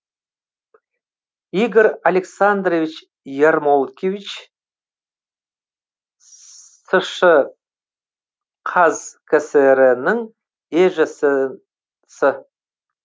игорь александрович ярмолкевич сш і қазкср інің есж сы